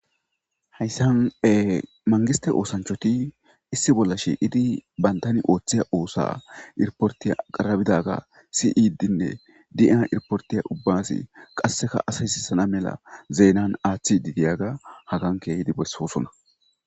hayssan e mangiste oosanchoti issi bollashi idi bayndani ooththeya oosa irportiya qarabidaga siidinne dia irportiya ubbasi qasseka asaysisana mela zeenan aaththi didiyaga hagan keehidi bessoosona